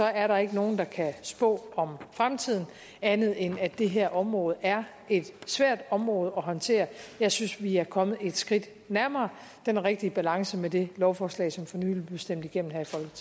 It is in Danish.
er der ikke nogen der kan spå om fremtiden andet end at det her område er et svært område at håndtere jeg synes vi er kommet et skridt nærmere den rigtige balance med det lovforslag som for nylig blev stemt igennem